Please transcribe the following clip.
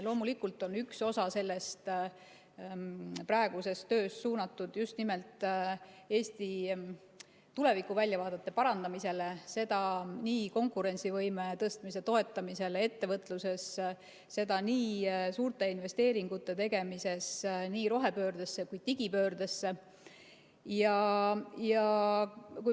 Loomulikult on üks osa sellest praegusest tööst suunatud just nimelt Eesti tulevikuväljavaadete parandamisele, seda nii konkurentsivõime tõstmise toetamisel ettevõtluses kui ka suurte investeeringute tegemisel nii rohepöördesse kui ka digipöördesse.